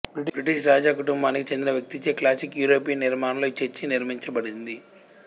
British రాజ కుటుంబానికి చెందిన వ్యక్తిచే క్లాసిక్ యూరోపియన్ నిర్మాణంలో ఈ చర్చి నిర్మించబడింది